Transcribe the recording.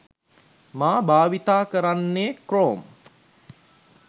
මා භාවිතා කරන්නේ ක්‍රෝම්.